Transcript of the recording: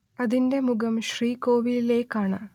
അതിന്റെ മുഖം ശ്രീകോവിലിലേക്കാണ്